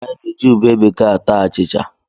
Anyị na-eji ube bekee ata achịcha.